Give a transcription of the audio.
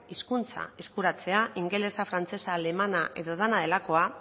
hizkuntza eskuratzea ingelesa frantsesa alemana edo dena delakoa